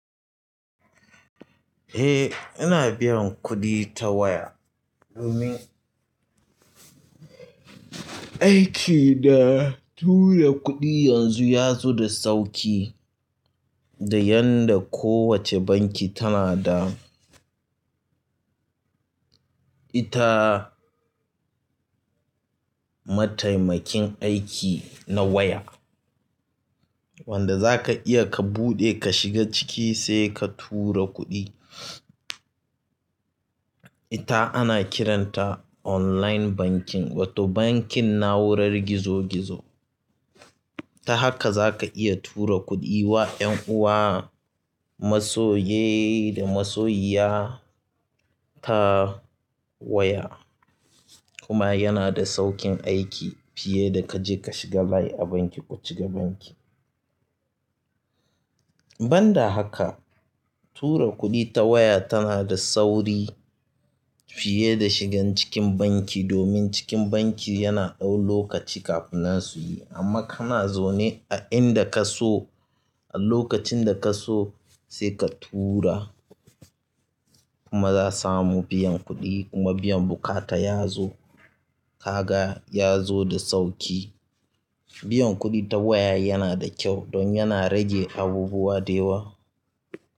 Eh ina biyan kuɗi ta waya domin aiki da tura kuɗi yanzu ya zo da sauƙi da yadda kowace banki tana da ita mataimakin aiki na waya wanda zaka iya ka buɗe ka shiga ciki sai ka tura kuɗi. Ita ana kiranta online banking wato bankin na'urar gizo gizo. Ta haka zaka iya tura kuɗi wa yanuwa, masoye da masoyiya ta waya kuma yana da sauƙin aiki fiye da kaje ka shiga line a banki ko ciga banki. Ban da haka tura kuɗi ta waya tana da sauri fiye da shigan cikin banki domin cikin banki yana ɗau lokaci kafin nan su yi amma kana zaune a inda ka so a lokacin da ka so sai ka tura kuma za samu biyan kuɗi kuma biyan buƙata ya zo, kaga ya zo da sauƙi. Biyan kuɗi ta waya yana da kyau don yana rage abubuwa da yawa.